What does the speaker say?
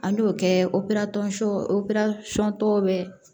An b'o kɛ operali tɔn operasɔn tɔ bɛ